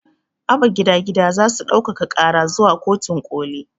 Abba gida gida zasu ɗaukaka ƙara zuwa kotun ƙoli